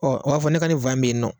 Ɔ o b'a fɔ ne ka nin fan be yen nɔ